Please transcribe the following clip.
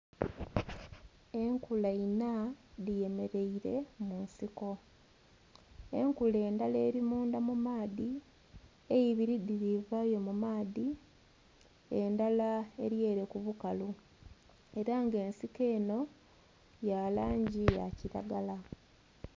Enkula inha dhemeraire munsiko, enkula ndhala erimundha mumaadhi eibiri dhirivayo mumaadhi endhala eryere kubukalu era nga ensiko eno yalangi yakiragala.